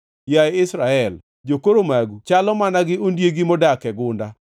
Yaye Israel, jokoro magu chalo mana gi ondiegi modak e gunda.